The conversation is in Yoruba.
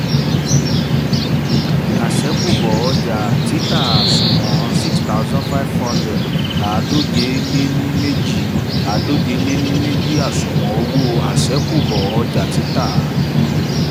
ṣẹ̀kúbọ̀ owó ọjà títà àsunwon sixty five thousand ---àádóje-lé-ní-méjì --- àádóje-lé-ní-méjì àsunwon owó àṣẹ́kùbọ̀ ọjà títà um dr cr.